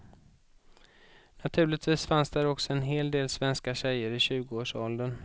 Naturligtvis fanns där också en hel del svenska tjejer i tjugoårsåldern.